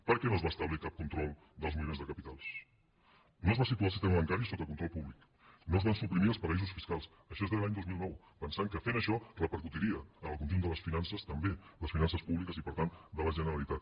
per què no es va establir cap control dels moviments de capitals no es va situar el sistema bancari sota control públic no es van suprimir els paradisos fiscals això és de l’any dos mil nou pensant que fent això repercutiria en el conjunt de les finances també les finances públiques i per tant de la generalitat